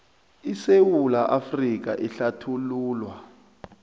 isewula afrika ehlathululwa